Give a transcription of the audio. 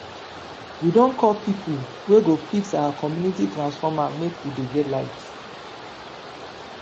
we don call pipo wey go fix our community transformer make we dey get light.